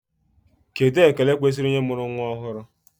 Kedụ ekele kwesịrị onye nụrụ nnwa ọhụrụ?